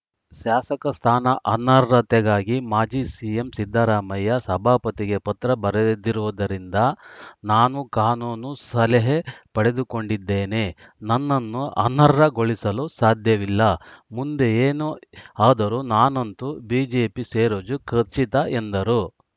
ಶಾಸಕ ಸ್ಥಾನ ಅನರ್ಹತೆಗಾಗಿ ಮಾಜಿ ಸಿಎಂ ಸಿದ್ದರಾಮಯ್ಯ ಸಭಾಪತಿಗೆ ಪತ್ರ ಬರೆದಿದ್ದಿರುವುದರಿಂದ ನಾನೂ ಕಾನೂನು ಸಲಹೆ ಪಡೆದುಕೊಂಡಿದ್ದೇನೆ ನನ್ನನ್ನು ಅನರ್ಹಗೊಳಿಸಲು ಸಾಧ್ಯವಿಲ್ಲ ಮುಂದೆ ಏನೇ ಆದರೂ ನಾನಂತು ಬಿಜೆಪಿ ಸೇರೋದು ಖಚಿತ ಎಂದರು